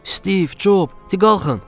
Steve, Job, qalxın!